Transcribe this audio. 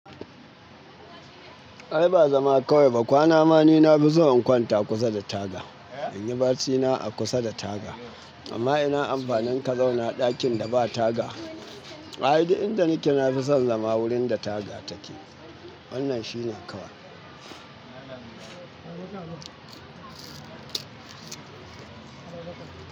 Ai ba zama kawai ba, kwana ma ni na fi so in kwanta kusa da taga. In yi barcina a kusa da taga. Amma ina amfanin ka zauna ɗakin da ba taga. Ai duk inda nike nafi son zama wurin da taga take. Wannan shine kawai.